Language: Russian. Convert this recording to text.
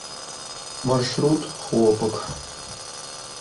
маршрут хлопок